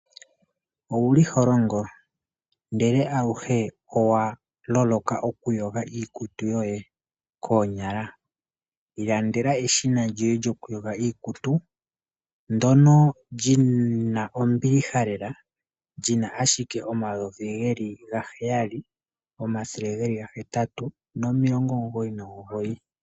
Owuli holongo ndele aluhe owa loloka okuyonga iikutu yoye konyala, ilandela eshina lyoye lyokuyonga iikutu ndono lyina ombiliha lela lyina ashike 7,999.